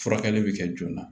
Furakɛli bɛ kɛ joona